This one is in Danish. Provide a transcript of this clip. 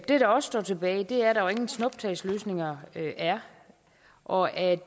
der også står tilbage er at der er ingen snuptagsløsninger og at